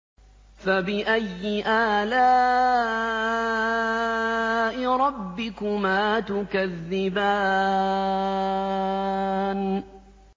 فَبِأَيِّ آلَاءِ رَبِّكُمَا تُكَذِّبَانِ